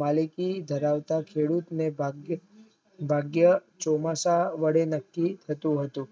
માલિકી ધરાવતા ખેડૂતને ભાગ્ય ચોમાસા વડે નકકી થતું હતું